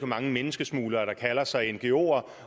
mange menneskesmuglere der kalder sig ngoer